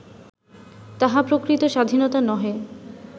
তাহা প্রকৃত স্বাধীনতা নহে